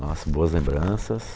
Nossa, boas lembranças.